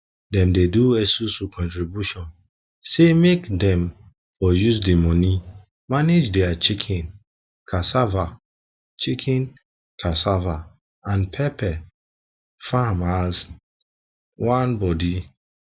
dem dey do esusu contribution say make dem for use the money manage their chicken cassava chicken cassava and pepper farm as one body